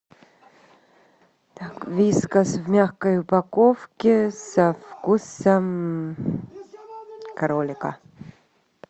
так вискас в мягкой упаковке со вкусом кролика